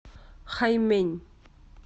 хаймэнь